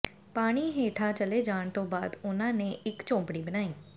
ਪਾਣੀ ਹੇਠਾਂ ਚਲੇ ਜਾਣ ਤੋਂ ਬਾਅਦ ਉਹਨਾਂ ਨੇ ਇਕ ਝੌਂਪੜੀ ਬਣਾਈ